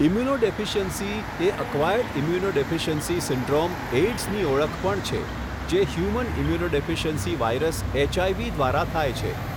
Immunodeficiency એ acquired immunodeficiency syndrome એઇડ્સની ઓળખ પણ છે, જે હ્યુમન ઇમ્યુનોડેફિસિયન્સી વાયરસ એચઆઇવી દ્વારા થાય છે.